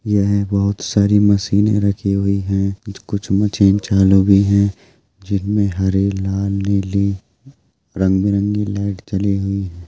यह बहोत सारी मशीने रखी हुई है जो कुछ मशीन चालू भी है जिनमे हरे लाल नीली रंग-बिरंगे लाइट जली हुई है।